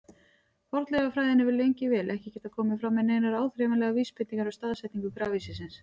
Fornleifafræðin hefur lengi vel ekki getað komið fram með neinar áþreifanlegar vísbendingar um staðsetningu grafhýsisins.